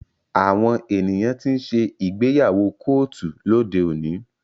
Àwọn ènìyàn tí ń ṣe ìgbéyàwó kóòtù lóde òní.